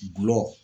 Gulɔ